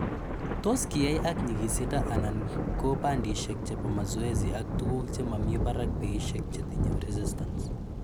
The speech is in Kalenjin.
Tos kiyai ak nyikisindo �anan ko bandishek chebo mazoezi ak tuguuk che mami parak peishek chetinye reistance.